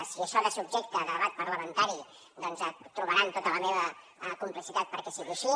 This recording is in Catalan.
si això ha de ser objecte de debat parlamentari doncs trobaran tota la meva complicitat perquè sigui així